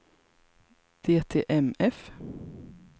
DTMF